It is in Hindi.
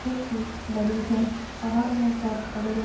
बहोत ही बड़ी है। पहाड़ में बोहोत बड़े-बड़े --